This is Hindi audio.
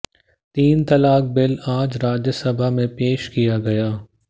तीन तलाक बिल आज राज्यसभा में पेश किया गया